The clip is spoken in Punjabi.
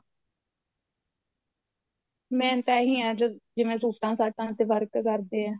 main ਤਾਂ ਇਹੀ ਹੈ ਜਿਵੇਂ ਸੂਟਾ ਸਾਟਾ ਤੇ work ਕਰਦੇ ਆ